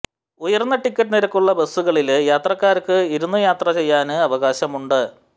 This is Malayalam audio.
ഉയര്ന്ന ടിക്കറ്റ് നിരക്കുള്ള ബസുകളില് യാത്രക്കാര്ക്ക് ഇരുന്ന് യാത്ര ചെയ്യാന് അവകാശമുണ്ട്